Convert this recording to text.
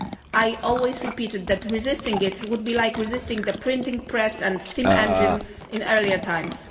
back. I have always repeated that resisting it would be like resisting the printing press and steam engine in earlier times.